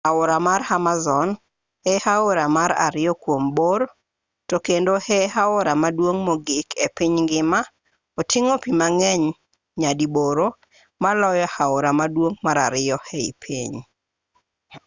aora mar amazon e aora mar ariyo kuom bor to kendo e aora maduong' mogik e piny ngima oting'o pi mang'eny nyadiboro maloyo aora maduong' mar ariyo e piny